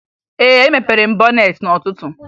Ee, emepere m bọneetị n'ụtụtu